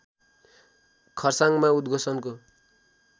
खर्साङमा उद्घोषणको